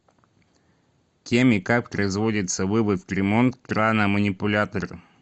кем и как производится вывод в ремонт крана манипулятора